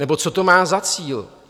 Nebo co to má za cíl?